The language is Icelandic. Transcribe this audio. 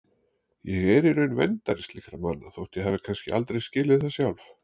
Ég er í raun verndari slíkra manna þótt ég hafi kannski aldrei skilið það sjálf.